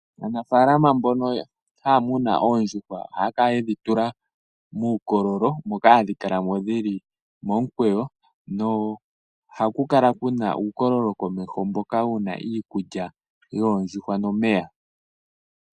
Aanafaalama mbono haa tekula oondjuhwa ohaa kala yedhi tula muukololo moka hadhi kala mo dhi li momukweyo. Komeho gadho ohaku kala ku na uukololo wu na iikulya nomeya gadho.